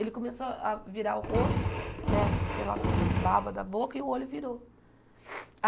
Ele começou a a virar o rosto, né, aquela baba da boca, e o olho virou.